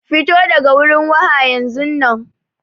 Fito daga wurin waha yanzunnan.